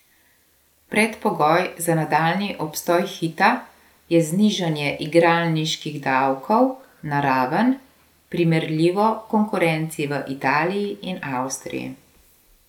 Predpogoj za nadaljnji obstoj Hita je znižanje igralniških davkov na raven, primerljivo konkurenci v Italiji in Avstriji.